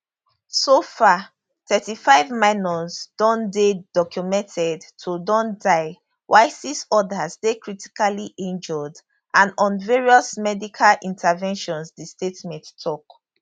so far thirtyfive minors don dey documented to don die while six odas dey critically injured and on various medical interventions di statement tok